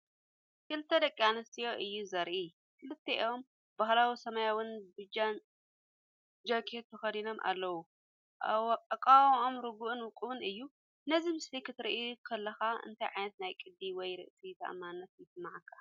ክልተ ደቂ ኣንስትዮ እዩ ዘርኢ። ክልቲኦም ባህላዊ ሰማያውን ቢጅን ጃኬት ተኸዲኖም ኣለዉ። ኣቃውማኦም ርጉእን ውቁብን እዩ። ነዚ ምስሊ ክትሪኦ ከለኻ እንታይ ዓይነት ናይ ቅዲ ወይ ርእሰ ተኣማንነት ይስምዓካ?